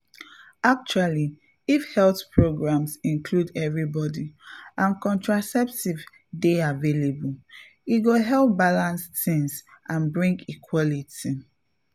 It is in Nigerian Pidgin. actually if health programs include everybody and contraceptives dey available e go help balance things and bring equality.